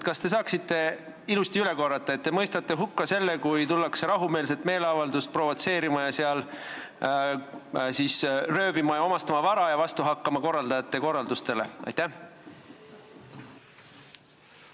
Kas te saaksite ilusti üle korrata, et te mõistate hukka selle, kui tullakse rahumeelsele meeleavaldusele provotseerima, sinna röövima ja vara omastama ning korraldajate korraldustele vastu hakkama?